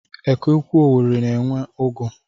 Eke Ukwuu Owerri na-enwe ugu.